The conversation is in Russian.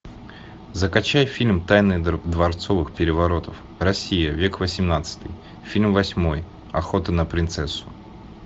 закачай фильм тайны дворцовых переворотов россия век восемнадцатый фильм восьмой охота на принцессу